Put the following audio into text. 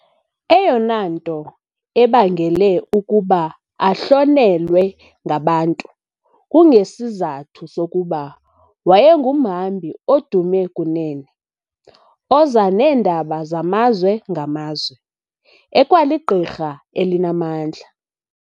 Eyona nto ebangele ukuba ahlonelwe ngabantu, kungesizathu sokuba wayengumhambi odume kunene, oza neendaba zamazwe ngamazwe, ekwaligqirha elinamandla.